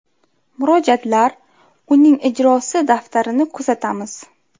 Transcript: Murojaatlar, uning ijrosi daftarini kuzatamiz.